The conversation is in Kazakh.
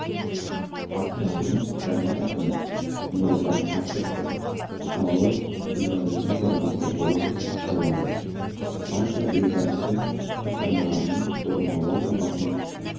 астананың жаңа әкімі нұр отан партиясы қалалық филиалының төрағасы болып сайланды партия елбасы тапсырмаларының орындалу сапасын